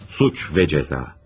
Suç və Cəza.